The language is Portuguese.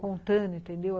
contando, entendeu?